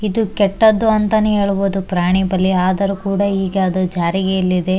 ಇದು ಕೆಟ್ಟದ್ದು ಅಂತಾನೆ ಹೇಳ್ಬಹುದು ಪ್ರಾಣಿ ಬಲಿ ಆದರೂ ಕೂಡ ಇದು ಜಾರಿಗೆಯಲ್ಲಿದೆ.